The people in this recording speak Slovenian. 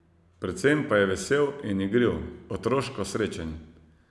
Predvsem pa je vesel in igriv, otroško srečen.